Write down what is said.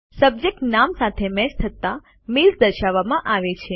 subject નામ સાથે match થતા મેલ્સ દર્શાવવામાં આવે છે